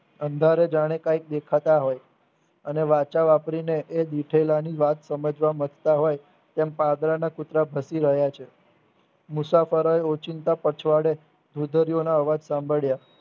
અંધારે જાણે કઈ દેખાતા હોય અને વાચા વાપરીને એ દુથોલાની વાત સમજવા મથતા હોય તેમ પાદરના કુતરા ભસી રહ્યા છે મુસાફરોએ ઓચિંતા પછવાડે ભુગોરીયાનો અવાજ સાંભળ્યા